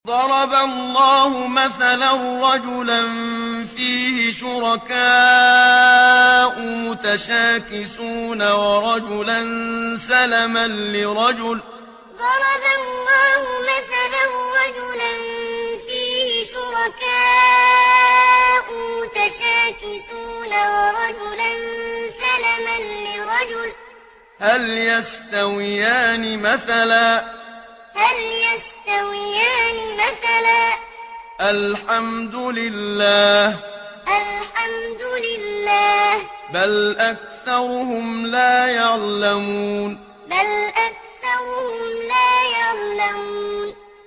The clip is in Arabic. ضَرَبَ اللَّهُ مَثَلًا رَّجُلًا فِيهِ شُرَكَاءُ مُتَشَاكِسُونَ وَرَجُلًا سَلَمًا لِّرَجُلٍ هَلْ يَسْتَوِيَانِ مَثَلًا ۚ الْحَمْدُ لِلَّهِ ۚ بَلْ أَكْثَرُهُمْ لَا يَعْلَمُونَ ضَرَبَ اللَّهُ مَثَلًا رَّجُلًا فِيهِ شُرَكَاءُ مُتَشَاكِسُونَ وَرَجُلًا سَلَمًا لِّرَجُلٍ هَلْ يَسْتَوِيَانِ مَثَلًا ۚ الْحَمْدُ لِلَّهِ ۚ بَلْ أَكْثَرُهُمْ لَا يَعْلَمُونَ